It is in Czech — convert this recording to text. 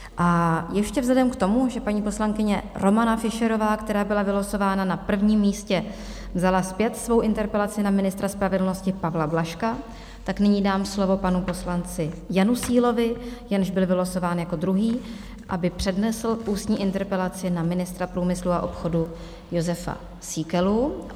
A ještě vzhledem k tomu, že paní poslankyně Romana Fischerová, která byla vylosována na prvním místě, vzala zpět svou interpelaci na ministra spravedlnosti Pavla Blažka, tak nyní dám slovo panu poslanci Janu Sílovi, jenž byl vylosován jako druhý, aby přednesl ústní interpelaci na ministra průmyslu a obchodu Jozefa Síkelu.